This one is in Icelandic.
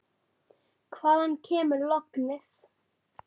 Hvaðan kemur lognið?